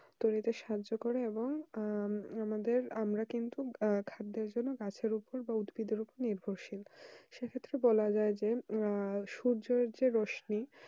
উৎপাদন করতে সাহায্য করে আমরা কিন্তু আহ খাদ্যের উপর বা গাছের উপর উদ্ভিদের উপর নির্ভরশীল সেক্ষেত্রে বলা যায় যে সূর্যের যে রোশনি